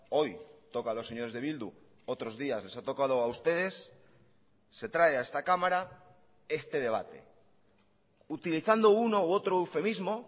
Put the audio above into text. hoy toca a los señores de bildu otros días les ha tocado a ustedes se trae a esta cámara este debate utilizando uno u otro eufemismo